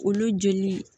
Olu joli